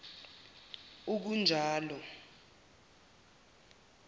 ukanjalo